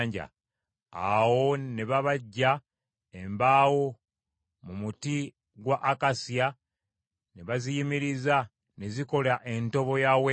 Awo ne babajja embaawo mu muti gwa akasiya ne baziyimiriza ne zikola entobo ya Weema.